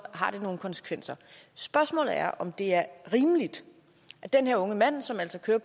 har det nogle konsekvenser spørgsmålet er om det er rimeligt at den her unge mand som altså kører